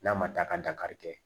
N'a ma taa ka dankari kɛ